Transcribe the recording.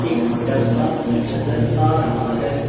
एक डब्बा भी नजर आ रहा है।